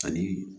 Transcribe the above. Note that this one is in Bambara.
Ani